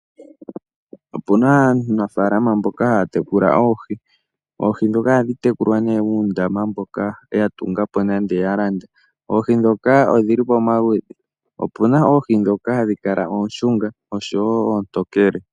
Opuna aanafaalama mboka haya tekula oohi. Oohi dhoka ohadhi tekulwa nee muundama mboka ya tungapo nande ya landa. Oohi dhoka odhili pamaludhi opuna oohi dhoka hadhi kala ooshunga oshowo oontokele.